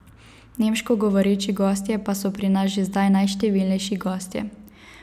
Nemško govoreči gostje pa so pri nas že zdaj najštevilnejši gostje.